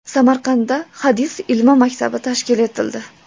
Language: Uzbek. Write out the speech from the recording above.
Samarqandda hadis ilmi maktabi tashkil etildi.